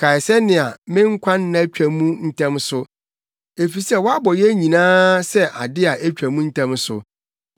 Kae sɛnea me nkwanna twa mu ntɛm so. Efisɛ woabɔ yɛn nyinaa sɛ ade a etwa mu ntɛm so!